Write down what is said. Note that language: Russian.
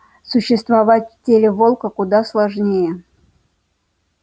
существовать в теле волка куда сложнее